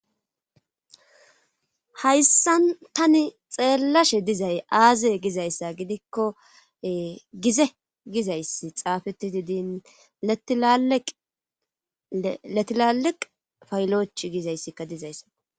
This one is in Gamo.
hayssan tani xeellashe dizay aaze gizayssa gidikko gize gizayssi xaafeti didin letilaliq fayloch gizayssikka dizayssa